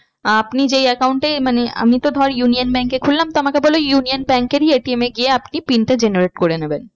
আপনি যে account এ মানে আমি তো ধর union bank এ খুললাম তো আমাকে বললো union bank এরই ATM এ গিয়ে আপনি PIN টা generate করে নেবেন।